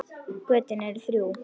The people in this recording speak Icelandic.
Götin eru þrjú.